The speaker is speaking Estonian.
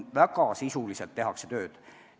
Väga sisuliselt tehakse tööd.